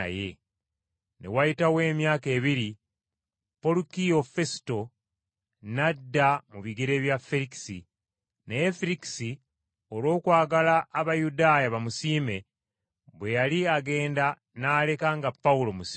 Ne wayitawo emyaka ebiri, Polukiyo Fesuto n’adda mu bigere bya Ferikisi. Naye Ferikisi olw’okwagala Abayudaaya bamusiime, bwe yali agenda n’aleka nga Pawulo musibe mu kkomera.